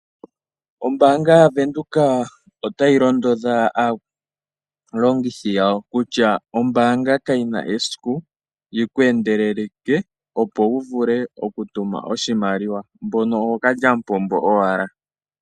Ombanga ya Venduka otayi londodha aalongithi yawo kutya ombanga kayina esiku yiku endeleleke opo u vule okutuma oshimaliwa mbono ookalyamupombo owala.